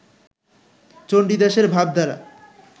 চণ্ডীদাসের ভাবধারা